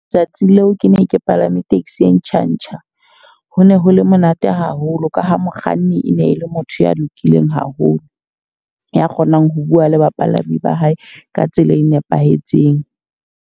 Tsatsing leo ke ne ke palame taxi e ntjha-ntjha. Ho ne ho le monate haholo ka ha mokganni e ne e le motho ya lokileng haholo, ya kgonang ho bua le bapalami ba hae ka tsela e nepahetseng.